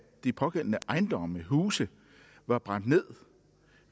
de pågældende ejendomme og huse var brændt ned